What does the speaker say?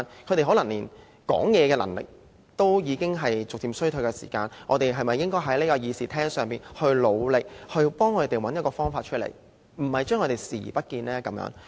他們說話的能力可能逐漸衰退，我們是否應該在這個會議廳中，為他們努力，幫助他們找一個方法，而不是對他們視而不見？